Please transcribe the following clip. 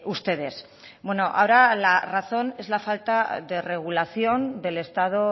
ustedes ahora la razón es la falta de regulación del estado